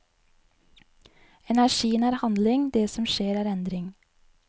Energien er handling, det som skjer er endring.